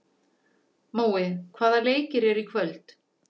Mói, hvaða leikir eru í kvöld?